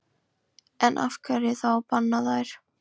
En af hverju þá að banna þær?